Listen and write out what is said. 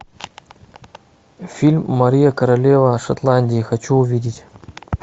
фильм мария королева шотландии хочу увидеть